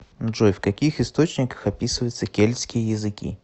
джой в каких источниках описывается кельтские языки